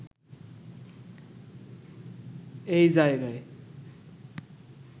এই জায়গায়